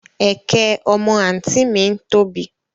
Ẹ̀kẹ́ ọmọ àǹtí ì mi tóbi